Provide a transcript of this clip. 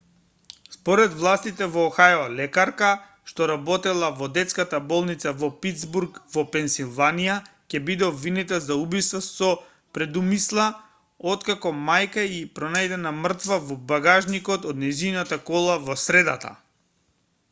според властите во охајо лекарка што работела во детската болница во питсбург во пенсилванија ќе биде обвинета за убиство со предумисла откако мајка ѝ е пронајдена мртва во багажникот од нејзината кола во средата